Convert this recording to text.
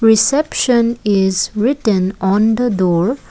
reception is written on the door.